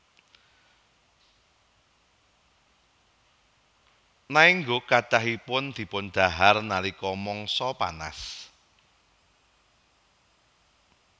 Naengguk kathahipun dipundhahar nalika mangsa panas